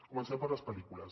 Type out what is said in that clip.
comencem per les pel·lícules